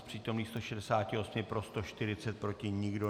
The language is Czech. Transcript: Z přítomných 168 pro 140, proti nikdo.